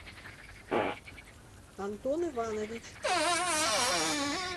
антон иванович